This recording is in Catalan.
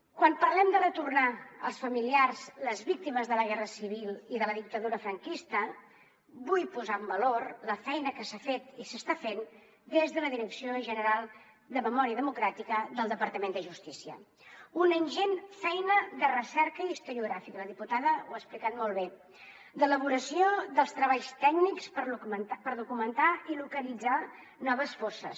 quan parlem de retornar als familiars les víctimes de la guerra civil i de la dictadura franquista vull posar en valor la feina que s’ha fet i s’està fent des de la direcció general de memòria democràtica del departament de justícia una ingent feina de recerca historiogràfica la diputada ho ha explicat molt bé d’elaboració dels treballs tècnics per documentar i localitzar noves fosses